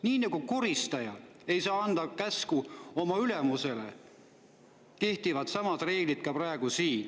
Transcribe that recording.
Nii nagu koristaja ei saa anda käsku oma ülemusele, kehtivad samad reeglid ka praegu siin.